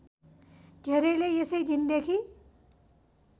धेरैले यसै दिनदेखि